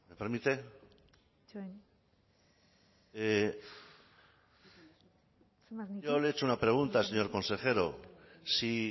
permite yo le he hecho una pregunta señor consejero si